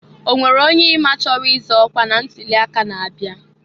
Onwere onye i ma chọrọ ịzọ ọkwa na ntuli aka na-abịa?